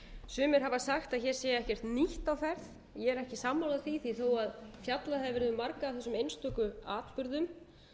sumir hafa sagt að hér sé ekkert nýtt á ferð ég er ekki sammála því því þó að fjallað hafi verið um marga af þessum einstöku atburðum